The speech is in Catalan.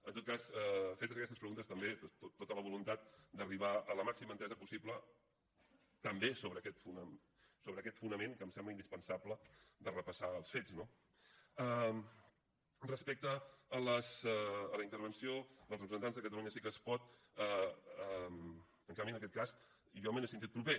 en tot cas fetes aquestes preguntes també tota la voluntat d’arribar a la màxima entesa possible també sobre aquest fonament que em sembla indispensable de repassar els fets no respecte a la intervenció dels representants de catalunya sí que es pot en canvi en aquest cas jo m’he sentit proper